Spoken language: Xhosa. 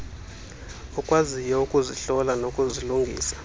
okwaziyo ukuzihlola nokuzilungisa